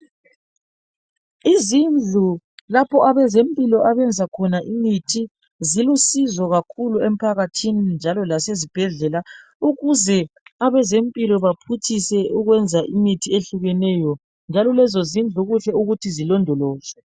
Izindlu lapho abazempilo abenza khona imithi zilusizo kakhulu emphakathini lasesibhedlela. Njalo lezozindlu kuqakathekile ukuthi zilondolozwe.